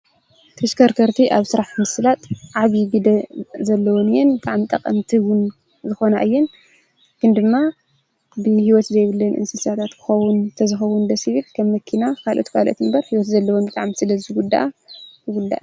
ተሽከርከርቲ ኣብ ስራሕ ምስላጥ ዓብይ ግደ ዘለወን እየን። ብጣዕሚ ጠቐምቲ ልኾና እየን ግን ድማ ብሂወት ዘይብለን እንስሳት ተዝኸውን ደስ ይብል ከም መኪና ካልኦት ካልኦት እምበር ሂወት ዘለወን ብጣዕሚ ስለዝጉዳኣ ይጉዳኣ።